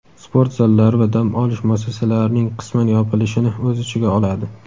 sport zallari va dam olish muassasalarining qisman yopilishini o‘z ichiga oladi.